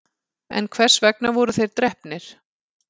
en hvers vegna voru þeir drepnir